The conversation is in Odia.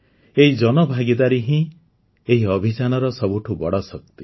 ଏହି ଜନଭାଗୀଦାରୀ ହିଁ ଏହି ଅଭିଯାନର ସବୁଠୁ ବଡ଼ ଶକ୍ତି